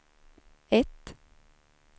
ett